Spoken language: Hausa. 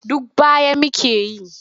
Duk baya muke yi.